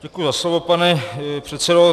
Děkuji za slovo, pane předsedo.